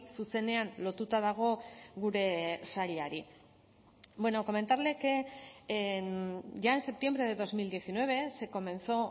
zuzenean lotuta dago gure sailari comentarle que ya en septiembre de dos mil diecinueve se comenzó